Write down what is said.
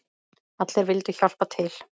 Allir vildu hjálpa til.